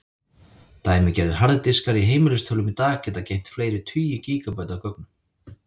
Dæmigerðir harðir diskar í heimilistölvum í dag geta geymt fleiri tugi gígabæta af gögnum.